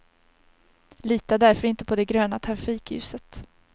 Lita därför inte på det gröna trafikljuset.